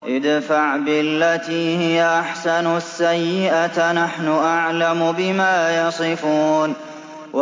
ادْفَعْ بِالَّتِي هِيَ أَحْسَنُ السَّيِّئَةَ ۚ نَحْنُ أَعْلَمُ بِمَا يَصِفُونَ